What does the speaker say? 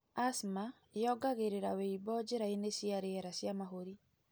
Asthma yongagĩrĩra wĩimbo njĩrainĩ cia riera cia mahũri.